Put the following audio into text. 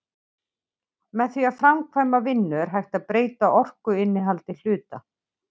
Með því að framkvæma vinnu er hægt að breyta orkuinnihaldi hluta.